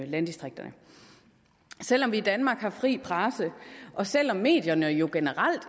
landdistrikterne selv om vi i danmark har en fri presse og selv om medierne jo generelt